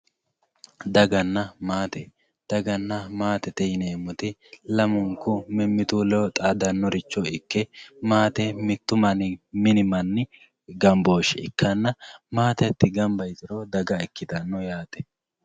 Daganna maatte, daganna maattette yineemotti, lamu'nku mimitu ledo xaadanoricho ikke maatte mittu mini mani gambooshe ikkanna maatte hati gamba yituro daga ikkitano yaate